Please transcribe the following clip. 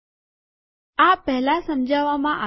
આ પહેલાં સમજાવામાં આવેલ છે